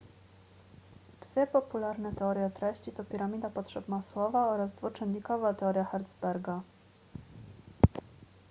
dwie popularne teorie treści to piramida potrzeb masłowa oraz dwuczynnikowa teoria hertzberga